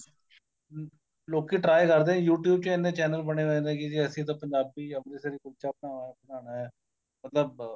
ਹਮ ਲੋਕੀ try ਕਰਦੇ ਏ YouTube ਚ ਇੰਨੇ channel ਬਣੇ ਹੋਏ ਨੇ ਕੀ ਅਸੀਂ ਤਾਂ ਪੰਜਾਬੀ ਅੰਮ੍ਰਿਤਸਰੀ ਕੁਲਚਾ ਬਨਾਣਾ ਮਤਲਬ